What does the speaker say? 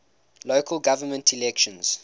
local government elections